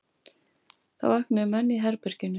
Þá vöknuðu menn í herberginu.